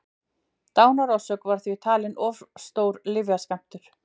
dánarorsök var því talin vera of stór lyfjaskammtur